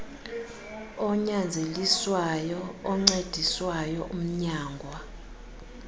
onyanzeliswayo oncediswayo umnyangwa